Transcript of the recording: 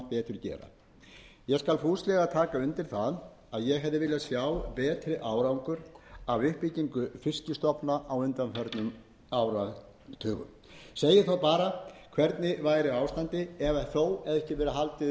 gera ég skal fúslega taka undir það að ég hefði viljað sjá betri árangur af aflatakmörkunum undanfarinna áratuga segi þó bara hvernig væri ástandið ef þetta hefði